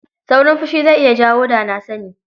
Saurin fushi zai iya jawo da-na-sani.